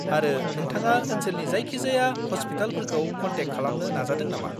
आरो, नोंथाङा ओनसोलनि जायखिजाया हस्पिटालफोरखौ कन्टेक्ट खालामनो नाजादों नामा?